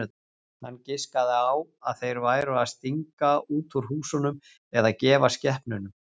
Hann giskaði á að þeir væru að stinga út úr húsunum eða gefa skepnunum.